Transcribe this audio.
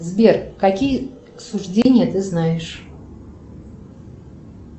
сбер какие суждения ты знаешь